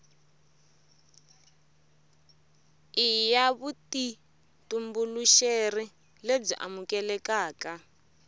i ya vutitumbuluxeri lebyi amukelekaka